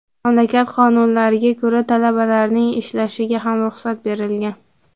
Mamlakat qonunlariga ko‘ra, talabalarning ishlashiga ham ruxsat berilgan.